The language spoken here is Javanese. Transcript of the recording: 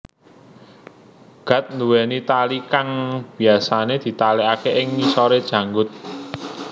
Gat duweni tali kang biyasane ditalekake ing ngisore janggut